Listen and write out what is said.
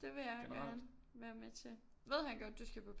Det vil jeg gerne være med til ved han godt at du skal på